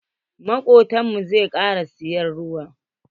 Makobtan mu zai kara siyan ruwa.